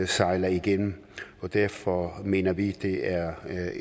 sejler igennem og derfor mener vi at det er er